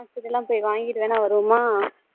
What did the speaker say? marksheet எல்லாம் போய் வாங்கிட்டு வேணா வருவோமா